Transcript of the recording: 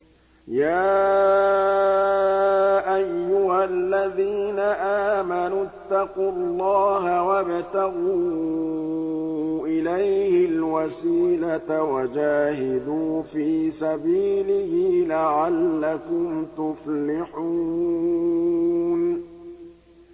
يَا أَيُّهَا الَّذِينَ آمَنُوا اتَّقُوا اللَّهَ وَابْتَغُوا إِلَيْهِ الْوَسِيلَةَ وَجَاهِدُوا فِي سَبِيلِهِ لَعَلَّكُمْ تُفْلِحُونَ